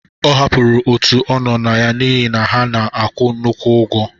Ọ hapụrụ òtù ọ nọ na ya n'ihi na ha na-akwụ nnukwu ụgwọ.